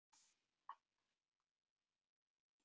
Þetta verðurðu að skilja.